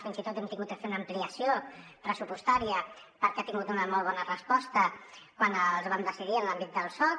fins i tot n’hem hagut de fer una ampliació pressupostària perquè han tingut una molt bona resposta quan els vam decidir en l’àmbit del soc